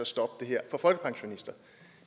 stoppe det her for folkepensionister